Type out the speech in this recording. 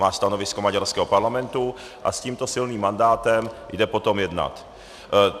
Má stanovisko maďarského parlamentu a s tímto silným mandátem jde potom jednat.